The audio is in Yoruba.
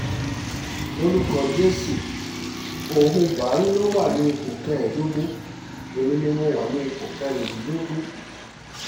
lórúkọ jésù òun buhari ló wà ní ipò kẹẹ̀ẹ́dógún èmi ni mo wà ní ipò kẹrìndínlógún